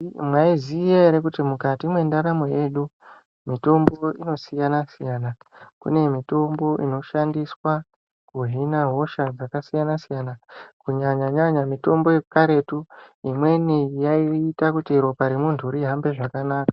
Mwaiziya ere kuti mukati mwrndaramo yedu mutombo inosiyana siyana kune mitombo inoshandiswa kuhina hosha dzakasiyana siyana kunyanya nyanya mutombo yekaretu imweni yaaita kuti ropa remuntu rihambe zvakanaka.